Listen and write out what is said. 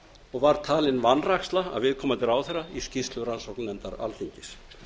og var talin vanræksla af viðkomandi ráðherra í skýrslu rannsóknarnefndar alþingis